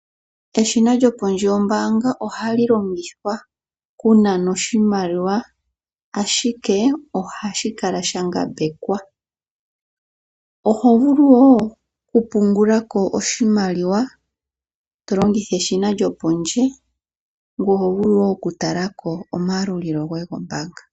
Eshina lyopondje yombanga ohali okunana oshimaliwa ashike ohashi kala sha ngambekwa oho vulu nokupungulako oshimaliwa tolongitha eshina lyopondje ngwe oho vulu noku talako omayalulilo goye gombanga.